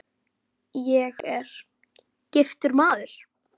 Ég er: giftur maður.